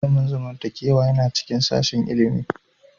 Ilimin zamantakewa yana cikin sashin ilimi